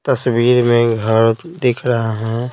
तस्वीर में घर दिख रहा है।